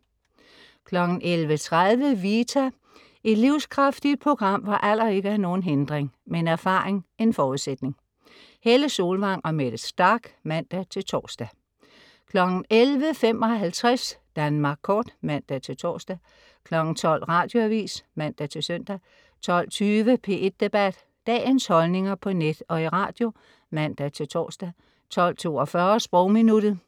11.30 Vita. Et livskraftigt program, hvor alder ikke er nogen hindring, men erfaring en forudsætning. Helle Solvang og Mette Starch (man-tors) 11.55 Danmark Kort (man-tors) 12.00 Radioavis (man-søn) 12.20 P1 Debat. Dagens holdninger på net og i radio (man-tors) 12.42 Sprogminuttet.